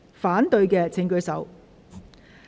反對的請舉手。